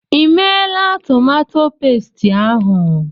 I meela tomato pesti ahụ?